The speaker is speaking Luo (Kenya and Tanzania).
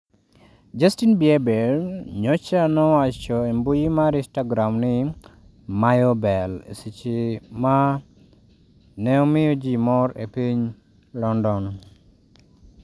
Justin Bieber nyocha nowacho e mbui mar instagram ni " mayo bell" e seche ma ne omiyo ji mor e piny London